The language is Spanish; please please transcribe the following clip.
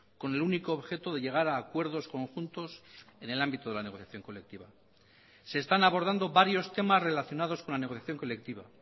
con el único objeto de llegar a acuerdos conjuntos en el ámbito de la negociación colectiva se están abordando varios temas relacionados con la negociación colectiva